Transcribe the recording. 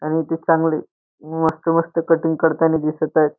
आणि ती चांगले मस्त मस्त कटिंग करतानी दिसत आहेत.